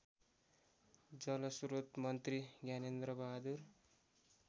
जलस्रोत मन्त्री ज्ञानेन्द्रबहादुर